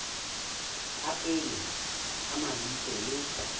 tsa pele tsa mabitso le